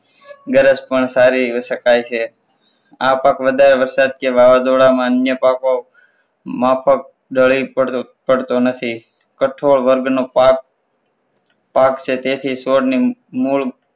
ગરજ પણ સારી કહી શકાય છે. આ પાક વધારે વરસાદ કે વાવાઝોડામાં અન્ય પાકો માફક ઢળી પડતો નથી કઠોળ વર્ગનો પાક પાક છે. તેથી ચોરની મૂળ